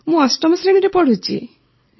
ମୁଁ ଅଷ୍ଟମ ଶ୍ରେଣୀରେ ପଢ଼ୁଛି